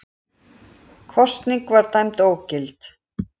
Kosningin var dæmd ógild